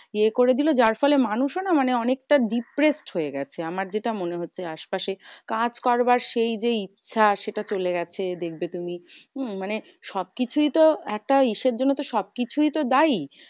ইয়ে করে দিলো যার ফলে মানুষও না মানে অনেকটা depressed হয়ে গেছে, আমার যেটা মনে হচ্ছে। আশপাশে কাজ করবার সেই যে ইচ্ছা সেটা চলে গেছে দেখবে তুমি। উম মানে সব কিছুই তো একটা ইসের জন্য তো সবকিছুই তো দায়ী।